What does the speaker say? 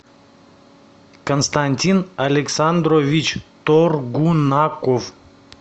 константин александрович торгунаков